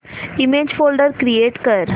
image folder create कर